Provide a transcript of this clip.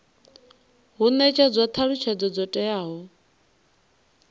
hu netshedzwa thalutshedzo dzo teaho